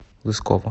лысково